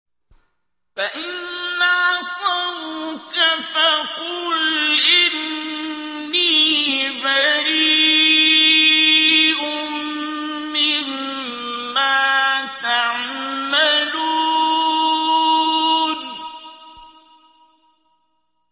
فَإِنْ عَصَوْكَ فَقُلْ إِنِّي بَرِيءٌ مِّمَّا تَعْمَلُونَ